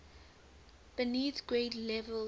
beneath grade levels